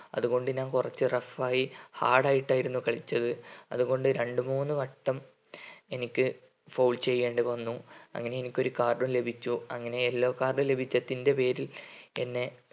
അതുകൊണ്ട് ഞാൻ കുറച്ച് rough ആയി hard ആയിട്ടായിരുന്നു കളിച്ചത് അതുകൊണ്ട് രണ്ടുമൂന്നുവട്ടം എനിക്ക് foul ചെയ്യേണ്ടി വന്നു അങ്ങനെ എനിക്ക് card ഉം ലഭിച്ചു അങ്ങനെ yellow card ലഭിച്ചതിന്റെ പേരിൽ എന്നെ